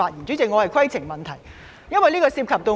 主席，我想提出規程問題，因為此事涉及我本人。